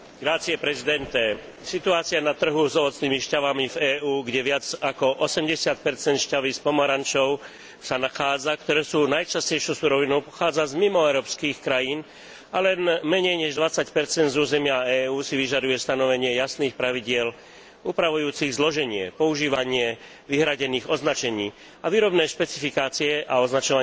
Situácia na trhu s ovocnými šťavami v EÚ, kde viac ako 80 šťavy z pomarančov, ktoré sú najčastejšou surovinou, pochádza z mimoeurópskych krajín a len menej než 20 z územia EÚ, si vyžaduje stanovenie jasných pravidiel upravujúcich zloženie, používanie vyhradených označení a výrobné špecifikácie a označovanie príslušných produktov.